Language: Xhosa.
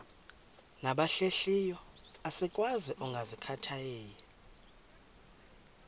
nabahlehliyo asikwazi ukungazikhathaieli